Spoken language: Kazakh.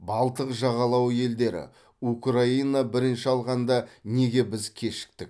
балтық жағалауы елдері украина бірінші алғанда неге біз кешіктік